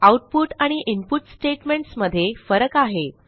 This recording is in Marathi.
आउटपुट आणि इनपुट स्टेटमेंट्स मध्ये फरक आहे